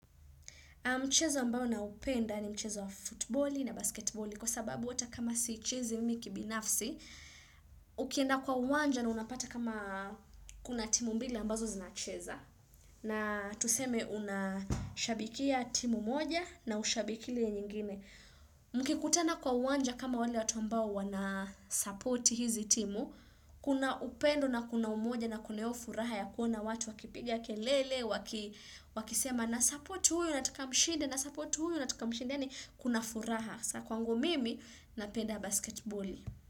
Mchezo ambao naupenda ni mchezo wa futboli na basketboli kwa sababu hata kama siichezi mi kibinafsi, ukienda kwa uwanja na unapata kama kuna timu mbili ambazo zinacheza. Na tuseme unashabikia timu moja na hushabikii ile nyingine. Mkikutana kwa uwanja kama wale watu ambao wanasupporti hizi timu, kuna upendo na kuna umoja na kuna hiyo furaha ya kuona watu wakipigia kelele, wakisema. Nasupport huyu nataka mshide na support huyu nataka mshide yaani kuna furaha kwangu mimi na penda basketball.